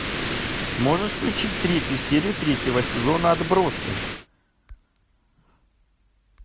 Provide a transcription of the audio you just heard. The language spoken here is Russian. можешь включить третью серию третьего сезона отбросы